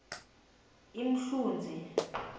imhluzi